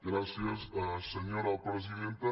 gràcies senyora presidenta